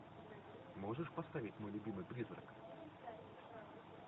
можешь поставить мой любимый призрак